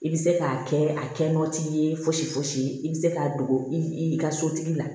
I bɛ se k'a kɛ a kɛ nɔgɔ t'i ye fosi fosi i bɛ se k'a dogo i ka sotigi la